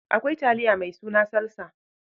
Akwai taliya mai suna salsa.